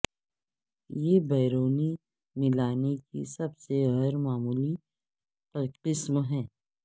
یہ برونی ملانے کی سب سے غیر معمولی قسم ہے